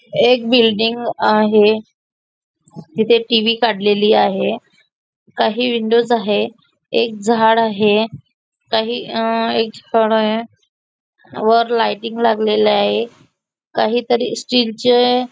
एक बिल्डिंग आहे इथे टीव्ही काडलेली आहे काही विंडोज आहे एक झाड आहे काही वर लायटिंग लागलेलय काहीतरी स्टिल चे --